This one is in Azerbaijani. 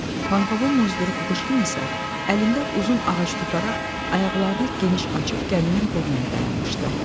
Pankovun muzduru Kukuşkin isə əlində uzun ağac tutaraq ayaqlarını geniş açıb gəminin burnunda dayanmışdı.